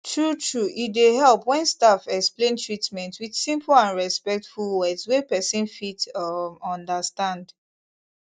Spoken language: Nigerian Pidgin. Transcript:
truetrue e dey help when staff explain treatment with simple and respectful words wey person fit um understand